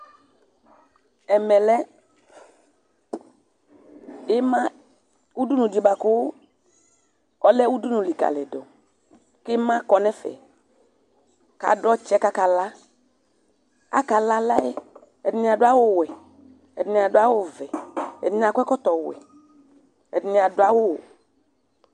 Ɛmɛlɛ ʋdʋnʋ di bʋakʋ ɔlɛ ʋdʋnʋ likalidʋ, kʋ ima kɔnʋ ɛfɛ, kʋ adʋ ɔtsɛ kʋ akala Akala alayɛ, ɛdini adʋ awʋwɛ, ɛdini adʋ awʋvɛ, ɛdini akɔ ɛkɔtɔwɛ, ɛdini adʋ waʋ